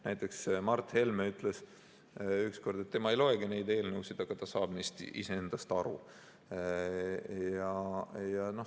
Näiteks ütles Mart Helme ükskord, et tema ei loegi neid eelnõusid, aga ta saab neist iseendast aru.